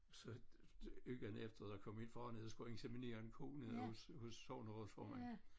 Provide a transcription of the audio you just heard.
Så ugen efter der kom min far ned og skulle inseminere en ko nede hos hos sognerådsformanden